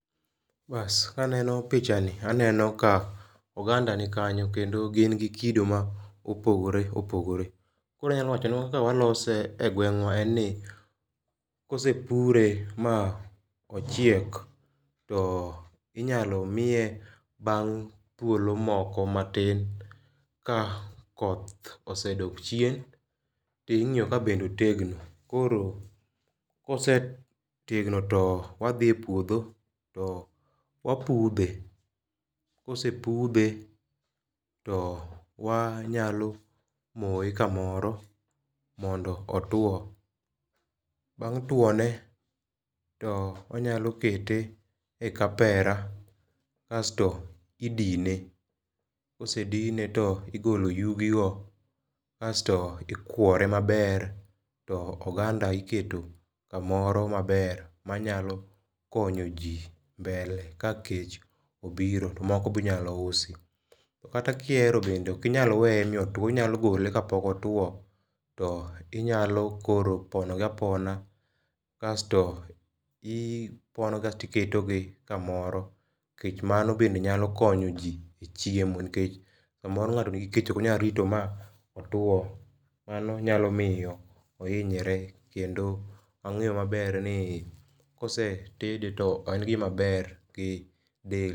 Bas kaneno picha ni aneno ka oganda nikanyo kendo gin gi kido mopogore opogore. Koro anyalo wacho ni kaka walose e gweng'wa en ni kosepure ma ochiek to inyalo iye bang' thuol moko matin ka koth osedok chien ting'iyo ka bende otegno. Koro kosetegno to wadhi e puodho to wapudhe . Kosepudhe to wa nyalo moye kamoro mondo otwo. Bang' twone to wanyalo kete e kapera kasto idine. Kosedine to igolo yugi go asto ikwore maber to oganda iketo kamoro maber manyalo konyo jii mbele ka kech obiro to moko binyalo usi. Kata kihero bende ok inya weye ma otwo inyalo gol kapok otwo inyalo koro pono gi apona asto ipono asto iketo gi kamoro kech bende mano bende nyalo konyo jii e chiemo nikech samoro ng'ato nigi kech onyalo rito mi otwo. Mano nyalo miyo ohinyre kendo wang'e maber ni kosetede to en gimaber gi del.